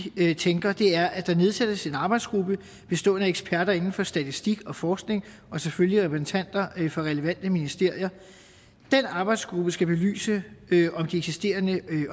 vi tænker er at der nedsættes en arbejdsgruppe bestående af eksperter inden for statistik og forskning og selvfølgelig repræsentanter for relevante ministerier den arbejdsgruppe skal belyse om de eksisterende